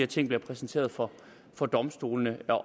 ting bliver præsenteret for for domstolene